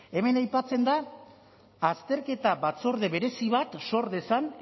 hemen aipatzen da azterketa batzorde berezi bat sor dezan